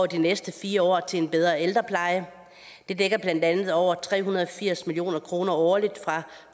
de næste fire år til en bedre ældrepleje det dækker blandt andet over tre hundrede og firs million kroner årligt fra